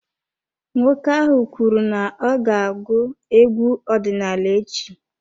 Nwoke ahụ kwuru n'ọga agụ egwu ọdinaala echi.